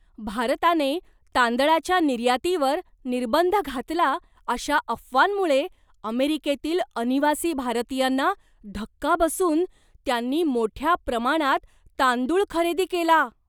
भारताने तांदळाच्या निर्यातीवर निर्बंध घातला अशा अफवांमुळे अमेरिकेतील अनिवासी भारतीयांना धक्का बसून त्यांनी मोठ्या प्रमाणात तांदूळ खरेदी केला.